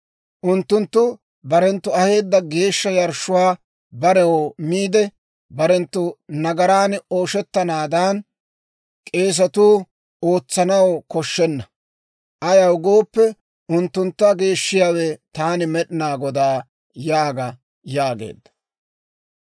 Unttunttu barenttu aheedda geeshsha yarshshuwaa barew miide, barenttu nagaran ooshettanaadan, k'eesatuu ootsanaw koshshenna. Ayaw gooppe, unttuntta geeshshiyaawe, taani Med'inaa Godaa yaaga› » yaageedda.